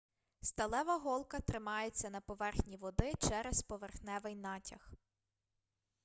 сталева голка тримається на поверхні води через поверхневий натяг